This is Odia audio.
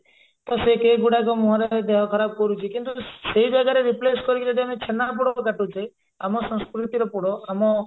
ପୁରା ସେଇ cake ଗୁଡାକ ମୁହଁରେ ଦେହ ଖରାପ କରୁଛି କିନ୍ତୁ ସେଇ ଜାଗାରେ replace କରିକି ଯଦି ଆମେ ଛେନାପୋଡ କାଟୁଛେ ଆମ ସଂସ୍କୃତିର ପୋଡ ଆମ